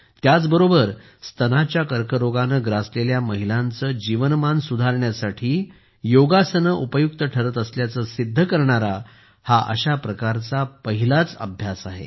त्याचबरोबर स्तनाच्या कर्करोगाने ग्रासलेल्या महिलांचे जीवनमान सुधारण्यासाठी योगासने उपयुक्त ठरत असल्याचे सिद्ध करणारा हा अशा प्रकारचा पहिलाच अभ्यास आहे